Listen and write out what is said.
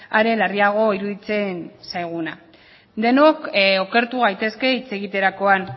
are larriago iruditzen zaiguna denok okertu gaitezke hitz egiterakoan